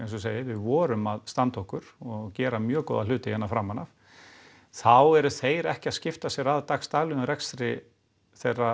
og við vorum að standa okkur og gera mjög góða hluti framan af þá eru þeir ekki að skipta sér af dagsdaglegum rekstri þeirra